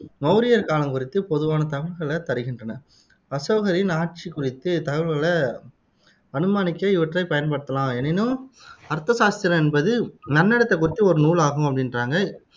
மௌரியர் காலம் குறித்துப் பொதுவான தகவல்களைத் தருகின்றன அசோகரின் ஆட்சி குறித்து தகவல்களை அனுமானிக்க இவற்றைப் பயன்படுத்தலாம் எனினும் அர்த்தசாஸ்திரம் என்பது நன்னடத்தை குறித்த ஒரு நூல் ஆகும் அப்படின்றாங்க